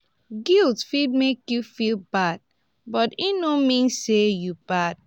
guilt fit mek yu feel bad but e no mean say yu bad